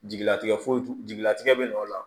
Jigilatigɛ foyi jigilatigɛ bɛ na o la